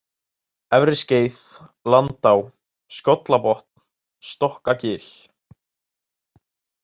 Efriskeið, Landá, Skollabotn, Stokkagil